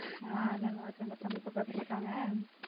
ஆஹ் எல்லாரும் நல்லா இருக்காங்க தம்பி பாப்பா எப்படி இருக்காங்க?